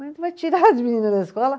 Mas tu vai tirar as meninas da escola?